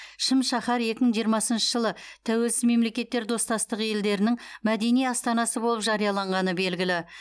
шым шаһар екі мың жиырмасыншы жылы тәуелсіз мемлекеттер достастығы елдерінің мәдени астанасы болып жарияланғаны белгілі